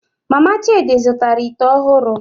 Mama Chidi zụtara ite ọhụrụ